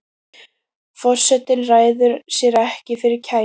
Forsetinn ræður sér ekki fyrir kæti.